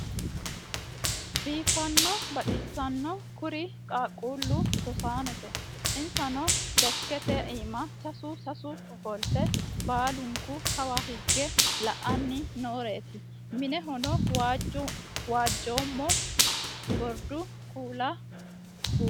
Biifano baxisanori kurri qaaqqulu rosaanote. insanno desikkete imaa sassu sassu offolitte baaluniku Kawa higge la'anni nooreti minnehono waajoma goriddu kuula buurronn